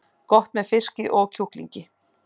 Gott með fiski og kjúklingi